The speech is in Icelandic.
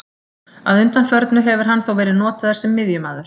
Að undanförnu hefur hann þó verið notaður sem miðjumaður.